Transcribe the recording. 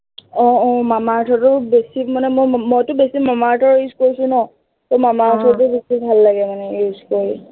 আহ আহ মামা আৰ্থৰটো বেছি মানে উম মইতো বেছি মামা আৰ্থৰেই use কৰিছো ন, সেই মামা আৰ্থৰটো বেছি ভাল লাগে মানে use কৰি